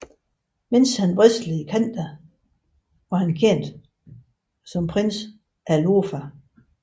Mens han wrestlede i Canada var han kendt som Prince Alofa